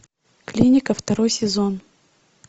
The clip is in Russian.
клиника второй сезон